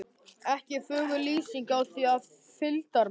Ekki er fögur lýsingin á því er fylgdarmenn